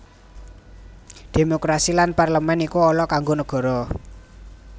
Démokrasi lan parlemèn iku ala kanggo negara